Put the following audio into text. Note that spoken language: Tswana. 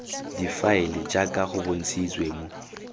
difaele jaaka go bontshitswe mo